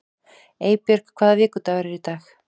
Eybjörg, hvaða vikudagur er í dag?